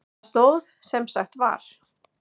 Það stóð sem sagt var.